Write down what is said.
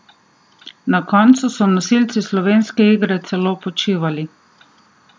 Na koncu so nosilci slovenske igre celo počivali!